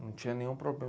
Não tinha nenhum